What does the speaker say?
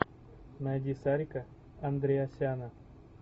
найди сарика андреасяна